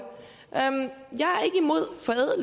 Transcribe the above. her er